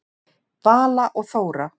Vala og Þóra.